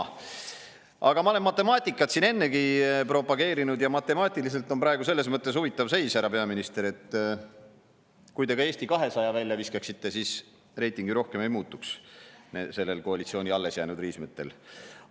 Aga matemaatiliselt – ma olen matemaatikat siin ennegi propageerinud – on praegu selles mõttes huvitav seis, härra peaminister, et kui te ka Eesti 200 välja viskaksite, siis koalitsiooni alles jäänud riismete reiting sellest ju ei muutuks.